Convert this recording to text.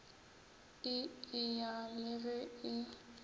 e eya le ge e